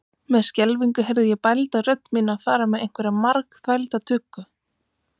Með skelfingu heyrði ég bælda rödd mína fara með einhverja margþvælda tuggu.